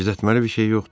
Gizlətməli bir şey yoxdur.